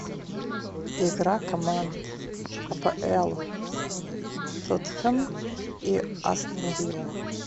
игра команд апл тоттенхэм и астон вилла